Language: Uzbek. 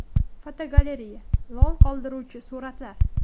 Fotogalereya: Lol qoldiruvchi suratlar.